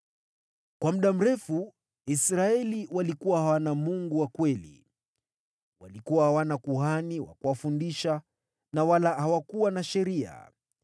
Kwa muda mrefu Israeli walikuwa hawana Mungu wa kweli, walikuwa hawana kuhani wa kuwafundisha na wala hawakuwa na sheria.